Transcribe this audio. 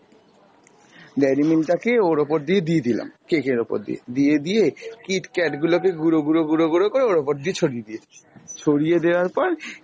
dairy milk টাকে ওর ওপর দিয়ে দিয়ে দিলাম, cake এর ওপর দিয়ে, দিয়ে দিয়ে kit kat গুলোকে গুড়ো গুড়ো গুড়ো গুড়ো করে ওর ওপর দিয়ে ছড়িয়ে দিয়েছি, ছড়িয়ে দেওয়ার পর